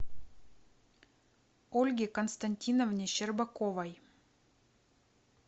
ольге константиновне щербаковой